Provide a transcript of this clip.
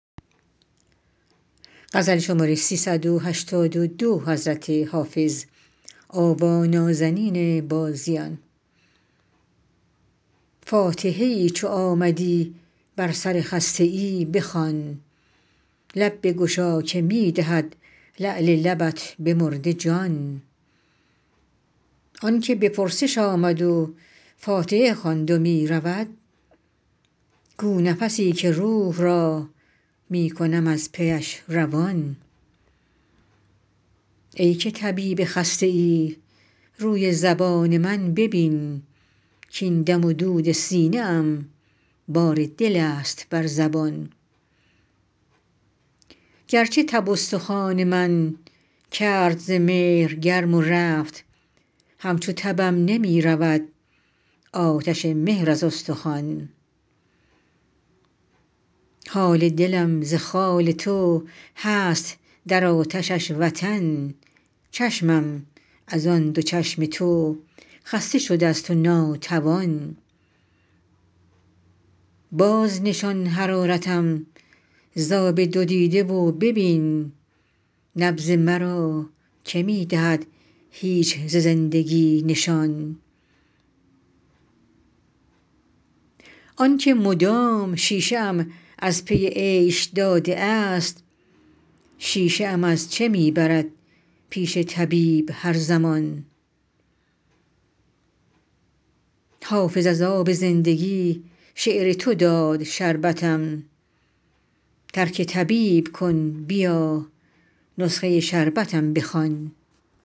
فاتحه ای چو آمدی بر سر خسته ای بخوان لب بگشا که می دهد لعل لبت به مرده جان آن که به پرسش آمد و فاتحه خواند و می رود گو نفسی که روح را می کنم از پیش روان ای که طبیب خسته ای روی زبان من ببین کـاین دم و دود سینه ام بار دل است بر زبان گرچه تب استخوان من کرد ز مهر گرم و رفت همچو تبم نمی رود آتش مهر از استخوان حال دلم ز خال تو هست در آتشش وطن چشمم از آن دو چشم تو خسته شده ست و ناتوان بازنشان حرارتم ز آب دو دیده و ببین نبض مرا که می دهد هیچ ز زندگی نشان آن که مدام شیشه ام از پی عیش داده است شیشه ام از چه می برد پیش طبیب هر زمان حافظ از آب زندگی شعر تو داد شربتم ترک طبیب کن بیا نسخه شربتم بخوان